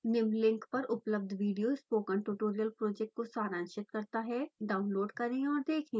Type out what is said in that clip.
निम्न लिंक पर उपलब्ध विडियो स्पोकन ट्यूटोरियल प्रोजेक्ट को सारांशित करता है डाउनलोड करें और देखें